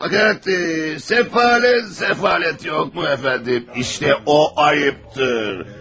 Maka nədir, səfalət, səfalət yoxmu əfəndim, işte o ayıbdır.